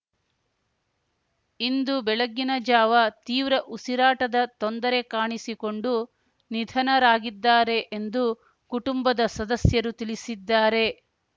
ಇಂದು ಬೆಳಗ್ಗಿನ ಜಾವ ತೀವ್ರ ಉಸಿರಾಟದ ತೊಂದರೆ ಕಾಣಿಸಿಕೊಂಡು ನಿಧನರಾಗಿದ್ದಾರೆ ಎಂದು ಕುಟುಂಬದ ಸದಸ್ಯರು ತಿಳಿಸಿದ್ದಾರೆ